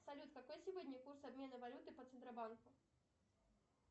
салют какой сегодня курс обмена валюты по центробанку